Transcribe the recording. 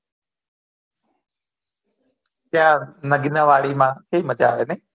ક્યાં નગીના વાડી માં કેવી મજા આવે ને